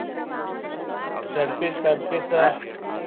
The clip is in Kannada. Shirt piece pant piece?